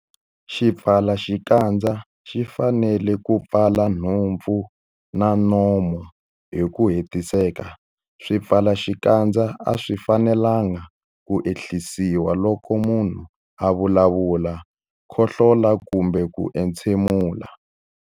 Xipfalaxikandza xi fanele ku pfala nhompfu na nomo hi ku hetiseka. Swipfalaxikandza a swi fanelanga ku ehlisiwa loko munhu a vulavula, khohlola kumbe ku entshemula.